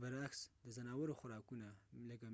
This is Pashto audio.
برعکس، د ځناورو خوراکونه